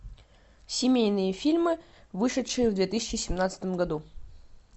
семейные фильмы вышедшие в две тысячи семнадцатом году